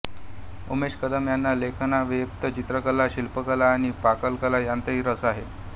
उमेश कदम यांना लेखनाव्यतिरिक्त चित्रकला शिल्पकला आणि पाककला यांतही रस आहे